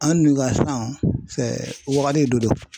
An dun ka san wagati dɔ don .